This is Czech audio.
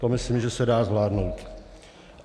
To myslím, že se dá zvládnout.